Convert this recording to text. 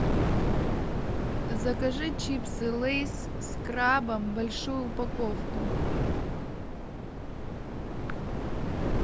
закажи чипсы лейс с крабом большую упаковку